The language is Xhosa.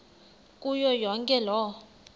kuyo yonke loo